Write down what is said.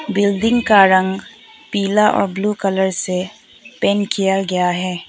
Building का रंग पीला और ब्लू कलर से पेंट किया गया है।